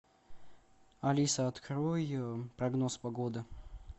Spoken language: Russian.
алиса открой прогноз погоды